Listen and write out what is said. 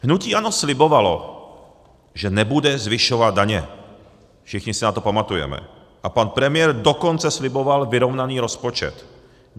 Hnutí ANO slibovalo, že nebude zvyšovat daně, všichni si na to pamatujeme, a pan premiér dokonce sliboval vyrovnaný rozpočet.